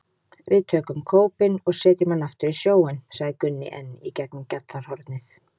Við tökum kópinn og setjum hann aftur í sjóinn, sagði Gunni enn í gegnum gjallarhornið.